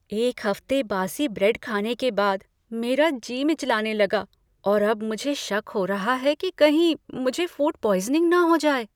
एक हफ्ते बासी ब्रेड खाने के बाद मेरा जी मिचलाने लगा और अब मुझे शक हो रहा है कि कहीं मुझे फूड पॉइज़निंग न हो जाए।